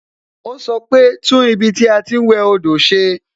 O sọ pe "tún ibi tí a ti ń wẹ do ṣe"